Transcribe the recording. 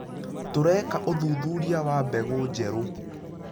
Tũreka ũthuthuria wa mbegũ njerũ.